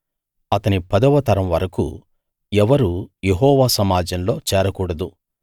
అతని పదవ తరం వరకూ ఎవరూ యెహోవా సమాజంలో చేరకూడదు